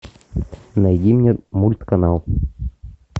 найди мне мульт канал